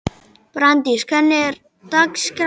Brandís, hvernig er dagskráin?